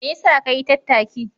Me yasa ka yi tattaki?